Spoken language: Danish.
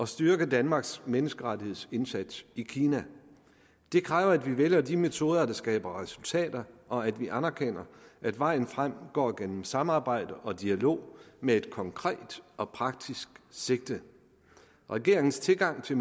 styrke danmarks menneskerettighedsindsats i kina det kræver at vi vælger de metoder der skaber resultater og at vi anerkender at vejen frem går gennem samarbejde og dialog med et konkret og praktisk sigte regeringens tilgang til